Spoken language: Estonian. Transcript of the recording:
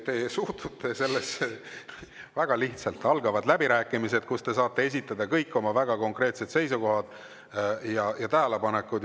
Te suhtute sellesse väga lihtsalt: algavad läbirääkimised, kus te saate esitada kõik oma väga konkreetsed seisukohad ja tähelepanekud.